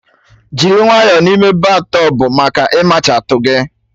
Jiri nwayọ n'ime battọbụ maka ịmachatu gị